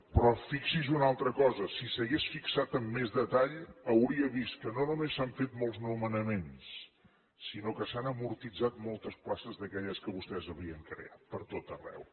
però fixi’s en una altra cosa si s’hagués fixat amb més detall hauria vist que no només s’han fet molts nomenaments sinó que s’han amortitzat moltes places d’aquelles que vostès havien creat per tot arreu